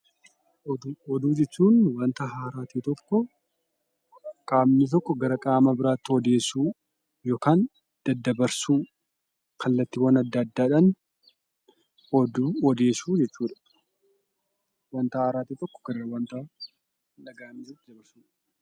Oduu jechuun; wanta haaraa ta'e tokko qamni tokko garaa qaamaa biraatti ooddeessuu ykn dadabarsuu kallaattiwwaan adda addaadhaan oddeessuu jechuudha. Wanta haaraa tokko garaa isaa hin dhaga'aminitti dabarsuudha